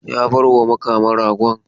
Ya bar ma Makama ragon.